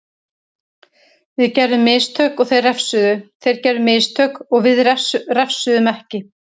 Við gerðum mistök og þeir refsuðu, þeir gerðu mistök við refsuðum ekki.